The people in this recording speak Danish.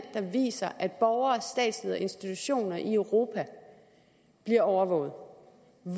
der viser at borgere statsledere og institutioner i europa bliver overvåget